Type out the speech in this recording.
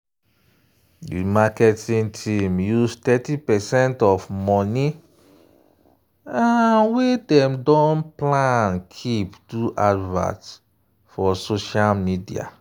di marketing team use thirty percent of money wey dem don plan keep do advert for social media.